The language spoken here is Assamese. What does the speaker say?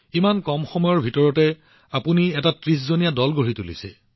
ইমান কম সময়ৰ ভিতৰত আপুনি ৩০ জনীয়া দল গঠন কৰিছে